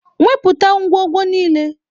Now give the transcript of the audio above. Wepụta ngwongwo niile!